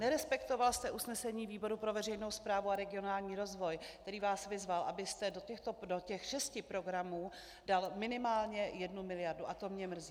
Nerespektoval jste usnesení výboru pro veřejnou správu a regionální rozvoj, který vás vyzval, abyste do těch šesti programů dal minimálně jednu miliardu, a to mě mrzí.